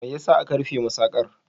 Me ya sa aka rufe masaƙar?